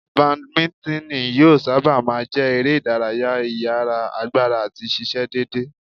Bàdímínítìnì yóò sábà má a jẹ́ eré ìdárayá ìyára, agbára àti ṣíṣe déédéé.